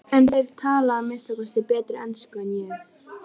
En þeir tala að minnsta kosti betri ensku en ég.